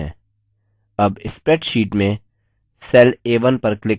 a1 spreadsheet में cell a1 पर click करें